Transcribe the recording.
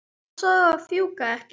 Passaðu að fjúka ekki.